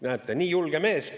Näete, nii julge mees!